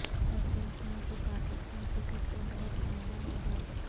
وسیم خان سے پاکستان کرکٹ کو بہت فائدہ ہوگا